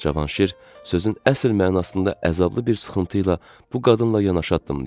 Cavanşir sözün əsl mənasında əzablı bir sıxıntı ilə bu qadınla yanaşı addımlayırdı.